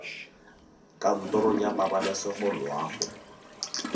kantorong ya pabalesego loago e